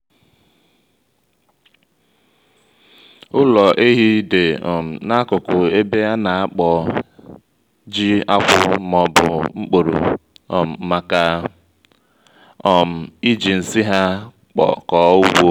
ụlọ ehi dị um n'akụkụ ebe ana-akpọ ji-akwụ ma ọbu mkporo um màkà um iji nsị ha kọ ugbo